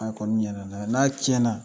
A kɔɔni ɲɛnɛna n'a tiɲɛna